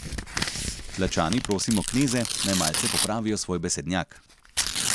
Tlačani prosimo kneze, naj malce popravijo svoj besednjak.